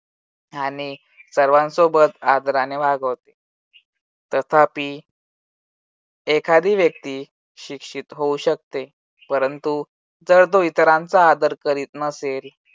ह्याने सर्वांसोबत आदराने वागवत. तथापि एखादी व्यक्ती शिक्षित होऊ शकते. परंतु जर तो इतरांचा आदर करीत नसेल